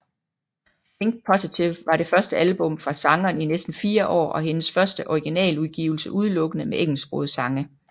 Think Positive var det første album fra sangeren i næsten fire år og hendes første originaludgivelse udelukkende med engelsksprogede sange